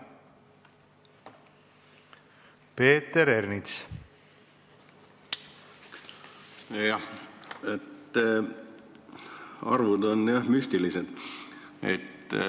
Jah, arvud on müstilised.